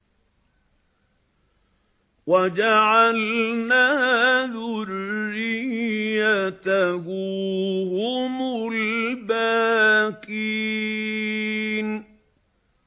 وَجَعَلْنَا ذُرِّيَّتَهُ هُمُ الْبَاقِينَ